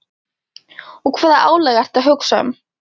Og hvaða álag ertu að hugsa um?